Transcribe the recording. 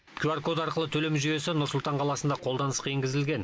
кюар код арқылы төлем жүйесі нұр сұлтан қаласында қолданысқа енгізілген